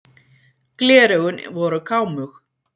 Gleraugun voru kámug.